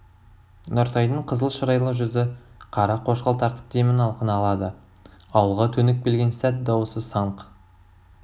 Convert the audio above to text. нұртайдың қызыл шырайлы жүзі қара қошқыл тартып демін алқына алады ауылға төніп келген сәт даусы саңқ